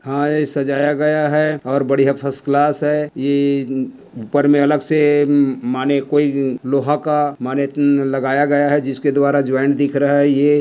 हां ये सजाया गया हैऔर बढ़िया फर्स्ट क्लास है। ये ऊपर में अलग से म म माने कोई लोहा का माने हम्म लगाया गया है जिसके द्वारा जॉइंट दिख रहा है। ये --